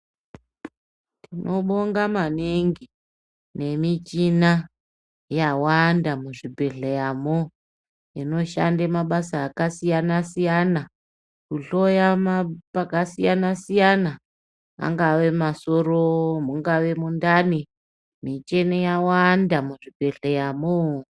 Tinobonga maningi nemichina yawanda muzvibhedhleyamwo inoshanda mabasa akasiyana siyana kuhloya pakasiyana siyana angava masoro mungave mundani michini yawanda muzvibhedhleyamwo.